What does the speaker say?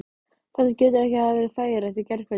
Þetta getur ekki hafa verið þægilegt í gærkvöldi?